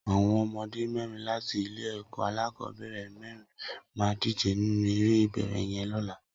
Awọn ọmọdé mẹrin làtí ilé ẹkọ akọbẹrẹ mẹrin mà dijé ninú éré ibééré yèn lọ̀là